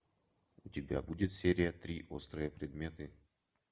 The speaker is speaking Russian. у тебя будет серия три острые предметы